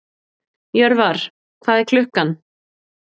Jörvar, hvað er klukkan?